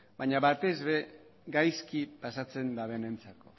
baina batez ere gaizki pasatzen dutenentzat